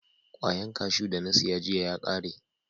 Kwayan kashu da na siya jiya ya kare.